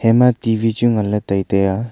ema T V chu nganla taitaiya.